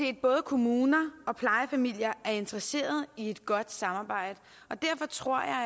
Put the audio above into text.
at både kommuner og plejefamilier er interesseret i et godt samarbejde og derfor tror jeg